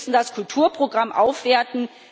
Wir müssen das Kulturprogramm aufwerten.